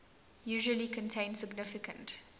usually contain significant